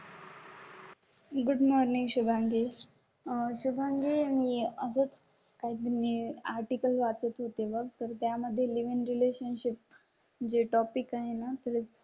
Good morning Shubhangi. मी अजून काही आर्टिकल वाचत होते व तर त्या मध्ये लिव्ह इन रिलेशनशिप जे टॉपिक आहे ना